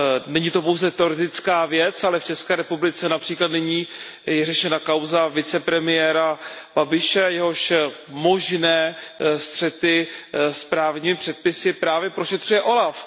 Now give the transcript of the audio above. Není to pouze teoretická věc, ale v České republice například nyní je řešena kauza vicepremiéra Babiše, jehož možné střety s právními předpisy právě prošetřuje úřad OLAF.